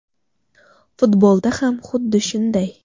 Futbolda ham xuddi shunday.